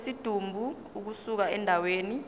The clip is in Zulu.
kwesidumbu ukusuka endaweni